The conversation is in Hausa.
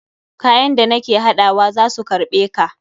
Kayan da nake haɗawa za su karɓe ka.